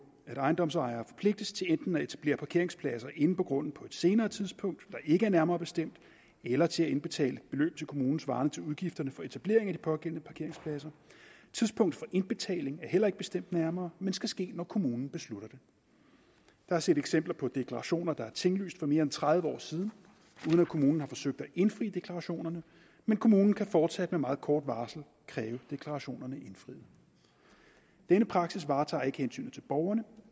at ejendomsejere forpligtes til enten at etablere parkeringspladser inde på grunden på et senere tidspunkt der ikke er nærmere bestemt eller til at indbetale et beløb til kommunen svarende til udgifterne for etablering af de pågældende parkeringspladser tidspunktet for indbetaling er heller ikke bestemt nærmere men skal ske når kommunen beslutter det der er set eksempler på deklarationer der er tinglyst for mere end tredive år siden uden at kommunen har forsøgt at indfri deklarationerne men kommunen kan fortsat med meget kort varsel kræve deklarationerne indfriet denne praksis varetager ikke hensynet til borgerne